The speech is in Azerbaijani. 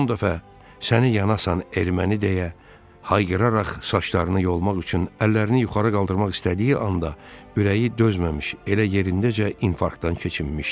Son dəfə "səni yanasan erməni" deyə hayqıraraq saçlarını yolmaq üçün əllərini yuxarı qaldırmaq istədiyi anda ürəyi dözməmiş, elə yerindəcə infarktdan keçinmişdi.